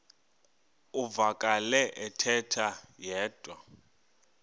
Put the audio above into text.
uvakele ethetha yedwa